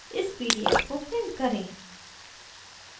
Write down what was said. इस pdf को print करें